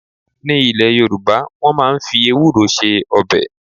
Ní ilé Yoruba, wọ́n máa ń fi ewúro ṣe ọbẹ̀